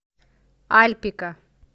альпика